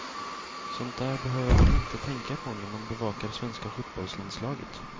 Sånt där behöver man inte tänka på när man bevakar svenska fotbollslandslaget.